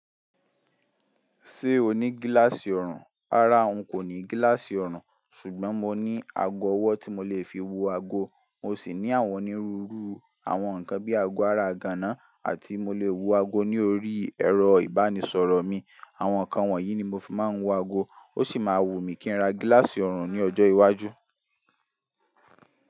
Ṣé o ní gíláàsì ọ̀rùn? Rárá n kò ní gíláàsì ọ̀rùn ṣùgbọ́n mo ní ago ọwọ́ tí mo lè fi wo ago, mo sì ní àwọn onírúurú àwọn nǹkan bíi ago ara igàánà àti mo lè wo ago ní orí ẹ̀rọ ìbánisọ̀rọ̀ mi. Àwọn nǹkan wọ̀nyí ni mo fi máa ń wo ago, ó sì máa wù mí kí n ra gíláàsì ọ̀rùn ní ọjọ́ iwájú.